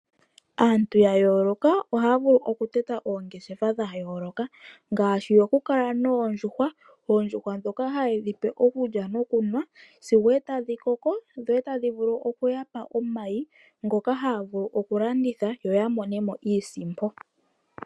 Aantu ya yooloka ohaya vulu okutota oongeshefa dha yooloka ngaashi yokukala noondjuhwa. Oondjuhwa dhoka haye dhi pe okulya nikunwa sigo tadhi koko dho tadhi vulu okuyapa omayi, ngoka haya vulu okulanditha yo ya monemo iisimpo.